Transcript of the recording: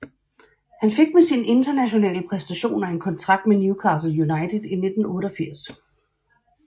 Han fik med sine internationale præstationer en kontrakt med Newcastle United i 1988